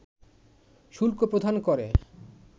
শুল্ক প্রদান করে